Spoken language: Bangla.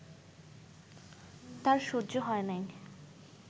তার সহ্য হয় নাই